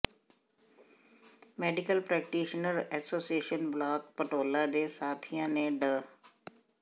medical practitioner association block Dhanaula ਦੇ ਸਾਥੀਆਂ ਨੇ ਡਾ